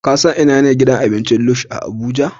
Ka san ina ne gidan abincin Lush a Abuja?